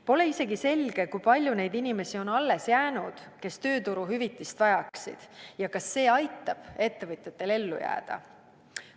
Pole isegi selge, kui palju neid inimesi on alles jäänud, kes tööturuhüvitist vajaksid, ja kas see aitab ettevõtetel ellu jääda.